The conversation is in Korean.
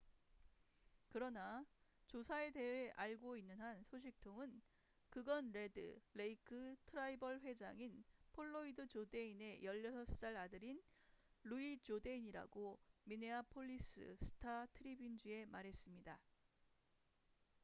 그러나 조사에 대해 알고 있는 한 소식통은 그건 레드 레이크 트라이벌 회장인 플로이드 조데인의 16살 아들인 루이 조데인이라고 미네아폴리스 스타-트리뷴지에 말했습니다